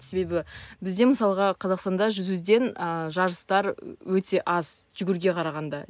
себебі бізде мысалға қазақстанда жүзуден ы жарыстар өте аз жүгіруге қарағанда